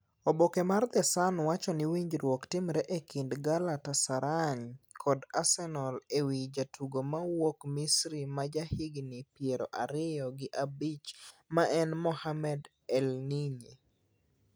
Oboke mar the Sun wacho ni winjruok timre e kind Galatasaray kod Arsenal e wi jatugo mawuok Misri ma jahigni pier ariyo gi abich ma en Mohamed Elneny.